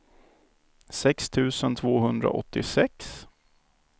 sex tusen tvåhundraåttiosex